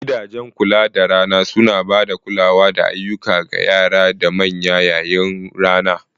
Gidajen Kula da Rana suna ba da kulawa da ayyuka ga yara da manya yayin rana.